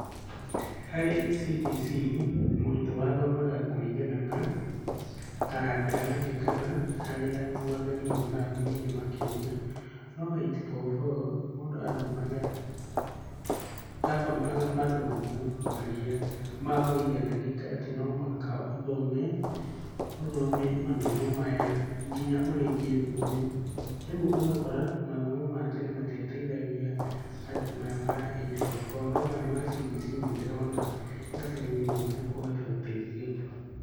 Harĩ CBC, mũrutwo athomaga kũringana na taranda yake kana harĩa mwathani amũrathimĩire makĩria. No eight four four mũndũ athomaga mathomo marĩa maũiganania atĩ no mũhaka ũthome, ũthome mathomo maya nginya ũrĩkie thukuru. Rĩu ũgakora mathomo maya tene matiateithagia andũ maya ma eight four four, no maya ma CBC nĩ ndĩrona gabere-inĩ nĩ mekũhota gũteithia andũ.